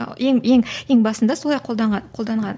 ал ең ең ең басында солай қолданған қолданған